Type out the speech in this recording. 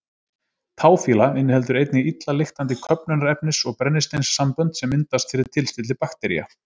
Táfýla inniheldur einnig illa lyktandi köfnunarefnis- og brennisteinssambönd sem myndast fyrir tilstilli baktería.